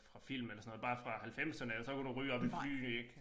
Fra film eller sådan noget bare fra halvfemserne og så kunne du ryge oppe i flyene ik